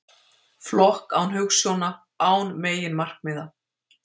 Flokk án hugsjóna, án meginmarkmiða.